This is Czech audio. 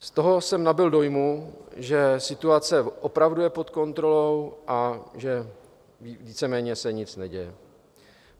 - Z toho jsem nabyl dojmu, že situace opravdu je pod kontrolou a že víceméně se nic neděje.